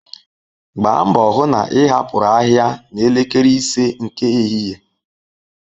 Gbaa mbo hu na ị hapụru ahịa na elekere ise nke ehihie.